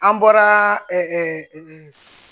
An bɔra